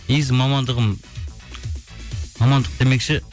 негізі мамандығым мамандық демекші